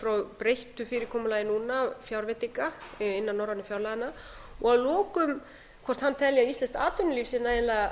frá breyttu fyrirkomulagi núna fjárveitinga innan norrænu fjárlaganna að lokum hvort hann telji að íslenskt atvinnulíf sé nægilega